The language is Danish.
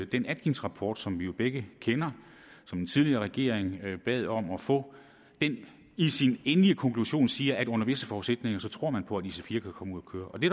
den atkinsrapport som vi jo begge kender som den tidligere regering bad om at få i sin endelige konklusion siger at under visse forudsætninger tror man på at ic4 kan komme ud at køre og det